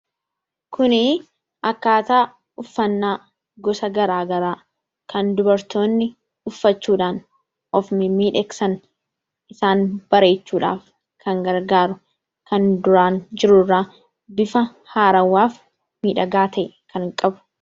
Suuraa kanaa gadii irratti kan argamu akkaataa uffannaa addaa addaa kan dubartoonni uffachuudhaan kan of miidhagsanii dha. Innis kan duraan jiru irraa bifa miidhagaa ta'een kan jiruu dha.